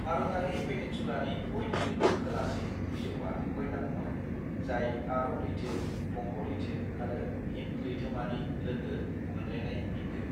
भारतारि पेनिनसुलानि बयनिख्रुयबो खोलासिन बिजौआ कन्याकुमारी, जाय आरब लैथो, बंग लैथो आरो हिंद लैथोमानि लोगो मोनलायनाय बिन्दो।